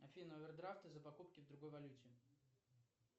афина овердрафты за покупки в другой валюте